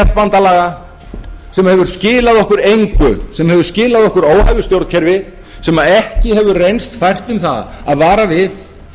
stéttbandalaga sem hefur skilað okkur engu sem hefur skilað okkur óhæfu stjórnkerfi sem ekki hefur reynst fært um það að vara við